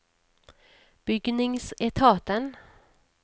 bygningsetaten